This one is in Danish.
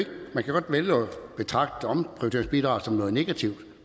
betragte omprioriteringsbidraget som noget negativt